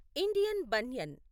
Indian banyan